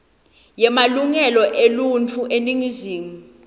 yemalungelo eluntfu eningizimu